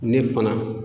Ne fana